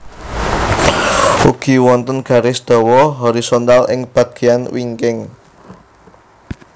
Ugi wonten garis dawa horisontal ing bagéyan wingking